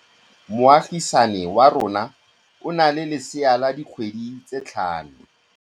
Moagisane wa rona o na le lesea la dikgwedi tse tlhano.